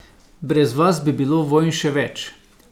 Brez vas bi bilo vojn še več.